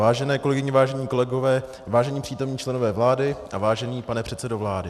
Vážené kolegyně, vážení kolegové, vážení přítomní členové vlády a vážený pane předsedo vlády.